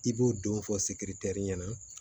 I b'o don fɔ sikirikirɛri ɲɛna